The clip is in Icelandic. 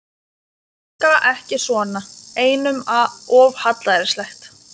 Orka ekki svona, einum of hallærislegt.